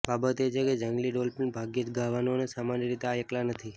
બાબત એ છે કે જંગલી ડોલ્ફિન ભાગ્યેજ ગાવાનું અને સામાન્ય રીતે આ એકલા નથી